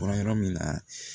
Bɔra yɔrɔ min na